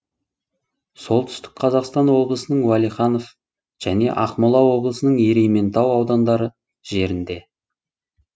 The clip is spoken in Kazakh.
солтүстік қазақстан облысының уәлиханов және ақмола облысының ерейментау аудандары жерінде